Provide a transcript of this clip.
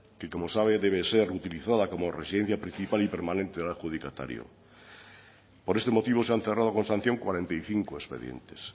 que como sabe debe ser utilizada como residencia principal y permanente al adjudicatario por este motivo se han cerrado con sanción cuarenta y cinco expedientes